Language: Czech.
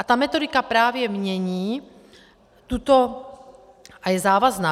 A ta metodika právě mění tuto a je závazná.